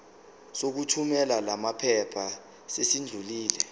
sokuthumela lamaphepha sesidlulile